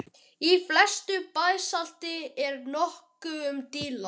Í flestu basalti er nokkuð um díla.